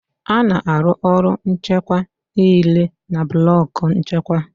A na-arụ ọrụ nchịkwa niile na blọku nchịkwa